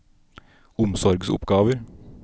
omsorgsoppgaver